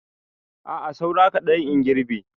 A'a saura kaɗan in girbe.